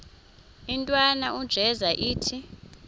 intwana unjeza ithi